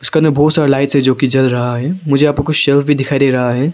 दुकान में बहुत सारा लाइट है जोकि जल रहा है मुझे यहां पर कुछ शेल्व्स भी दिखाई दे रहा है।